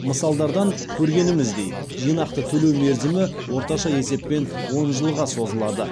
мысалдардан көргеніміздей жинақты төлеу мерзімі орташа есеппен он жылға созылады